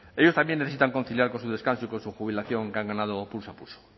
ellos también necesitan conciliar con su descanso y con su jubilación que han ganado pulso a pulso